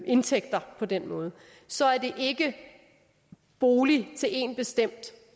indtægter på den måde så er det ikke bolig til én bestemt